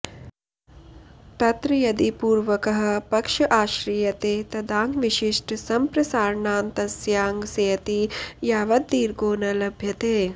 तत्र यदि पूर्वकः पक्ष आश्रीयते तदाङ्गविशिष्ट सम्प्रसारणान्तस्याङ्गस्येति यावद्दीर्घो न लभ्यते